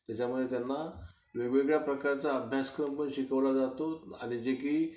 त्यामुळे त्यांना वेगवेगळ्या प्रकारचा अभ्यासक्रम पण शिकवला जातो आणि जे की